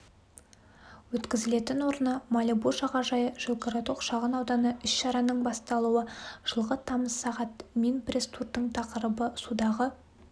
өткізілетін орны малибу жағажайы жилгородок шағын ауданы іс-шараның басталуы жылғы тамыз сағат мин пресс-турдың тақырыбы судағы